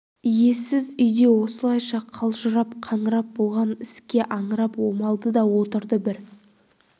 иесіз үйде осылайша қалжырап қаңырап болған іске аңырап омалды да отырды бір